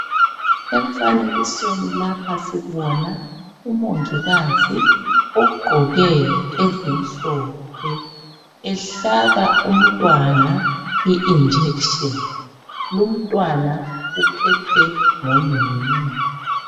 Emfanekisweni lapha sibona umongikazi ogqoke ezimhlophe, ehlaba umntwana i"injection"lumntwana uphethwe ngunina.